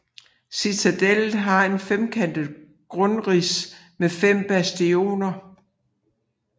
Citadellet har et femkantet grundrids med 5 bastioner